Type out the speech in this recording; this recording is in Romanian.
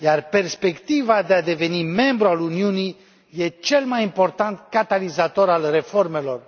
Perspectiva de a deveni membru al Uniunii e cel mai important catalizator al reformelor.